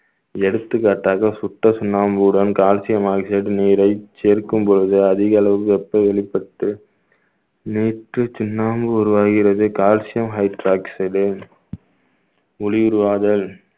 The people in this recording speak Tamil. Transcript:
எடுத்துக்காட்டாக சுத்த சுண்ணாம்புடன் calcium oxide நீரை சேர்க்கும் பொழுது அதிக அளவு வெப்ப வெளிப்பட்டு சுண்ணாம்பு உருவாகிறது calcium hydroxide உ ஒளி உருவாதல்